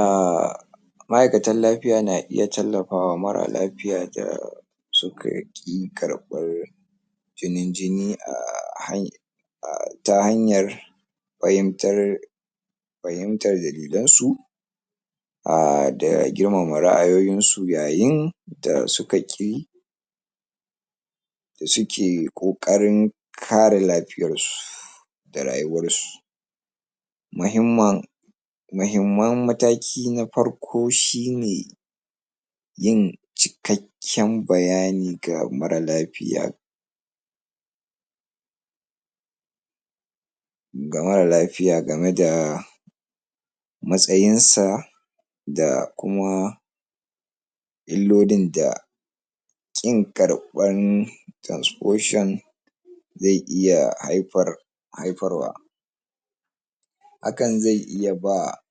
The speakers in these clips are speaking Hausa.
um ma'akatan lafiya na iya taimakawa mara lafita sukaƙi karɓar jinin jini a ta hanyar fahimtar fahimtar dalilan su da girmama ra'ayoyin su yayin da sukaƙi dasuki ƙoƙarin kare lafiyan su da rayuwan su mahiman mahimman mataki na farko shine yin cikakin bayani ga mara lafiya ga mara lafiya gamada matsayinsa da kuma ilolin da ƙin karɓan transfusion zai iya haifar haifarwa kan zai iya ba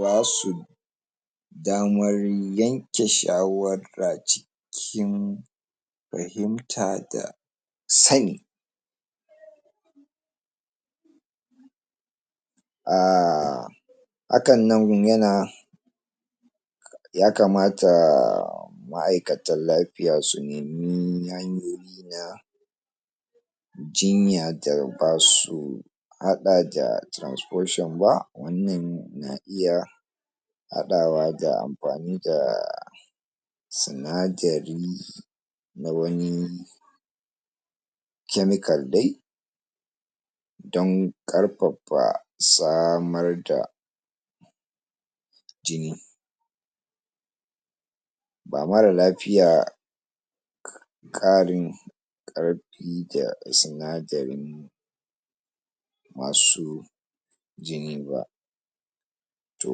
basu daman yanke shawara cikin cikin fahimta da sani um han nagun yana yakamata ma'aikatan lafiya sunemi hanyoyi na jinya da basu haɗada trasfusion ba wannan na iya haɗawa da anfani da sinadari dawane chemical dai dan karfafa samarda jini ba mara lafiya ƙarin ƙarfi da sinadarin masu jini ba ko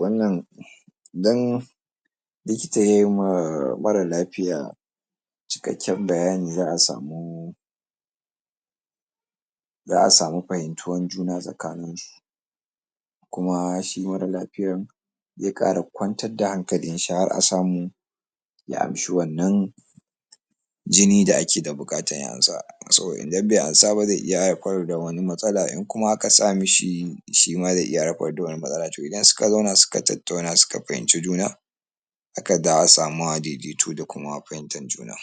wannan dan likita yayima mara lafiya cikakin bayani za'a samu za'a samu fahimtuwan juna tsakani su kuma shi mara lafiyan zai ƙara kwantar da hankalin shi har asamu ya amshi wannan jini da ake da buƙata ya ansa saboda idan bai ansaba zai iya haifar da wani matsala kuma aka sa mishi shima zai iya haifar da wani matsala to ida suka zauna suka tattauna suka fahimci juna haka za'a samu daidaito da kuma fahimtan juna